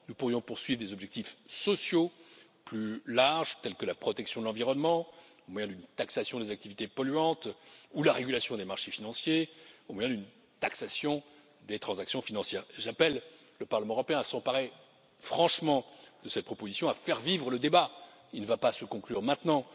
Nous pourrions poursuivre des objectifs sociaux plus larges, tels que la protection de l'environnement, au moyen d'une taxation des activités polluantes ou la régulation des marchés financiers ou bien une taxation des transactions financières. J'appelle le Parlement européen à s'emparer franchement de cette proposition, à faire vivre le débat il ne va pas se conclure maintenant